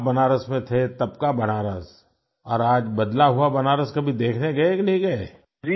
तो जब आप बनारस में थे तब का बनारस और आज बदला हुआ बनारस कभी देखने गए कि नहीं गए